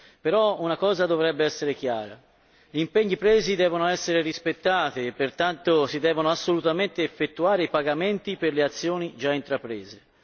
Tuttavia, una cosa dovrebbe essere chiara gli impegni presi devono essere rispettati e pertanto si devono assolutamente effettuare i pagamenti per le azioni già intraprese.